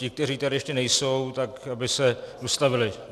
Ti, kteří tady ještě nejsou, tak aby se dostavili.